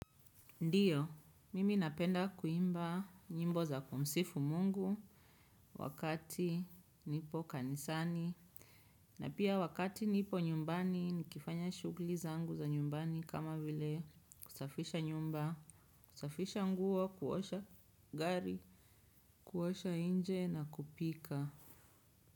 Ndiyo mimi napenda kuimba nyimbo za kumsifu mungu wakati nipo kanisani na pia wakati nipo nyumbani nikifanya shugli zangu za nyumbani kama vile kusafisha nyumba, kusafisha nguo kuosha gari, kuosha inje na kupika.